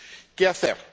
¿Qué hacer?